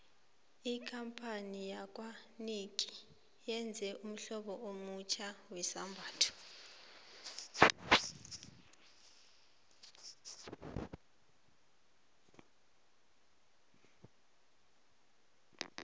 ikampani yakwanike yenze ummhlobo omutjha wezambhatho